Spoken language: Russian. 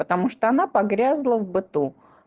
потому что она погрязла в быту